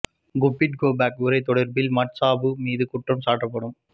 புக்கிட் Kepong உரை தொடர்பில் Mat Sabu மீது குற்றம் சாட்டப்படும்